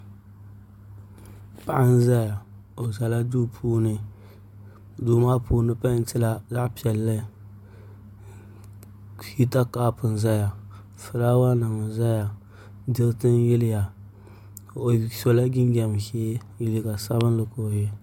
Paɣa n ʒɛya o ʒɛla duu puuni duu maa puuni peentila zaɣ piɛlli hita kaap n ʒɛya fulaawa nim ʒɛya diriti yiliya o sola jinjɛm ʒiɛ liiga sabinli ka o yɛ